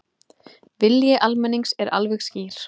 Vilji almennings er alveg skýr